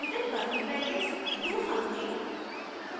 within curly brackets do something